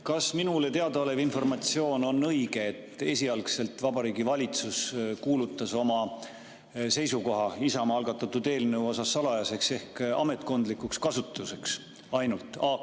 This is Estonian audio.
Kas on õige minule teadaolev informatsioon, et esialgselt Vabariigi Valitsus kuulutas oma seisukoha Isamaa algatatud eelnõu osas salajaseks ehk ametkondlikuks kasutuseks ainult?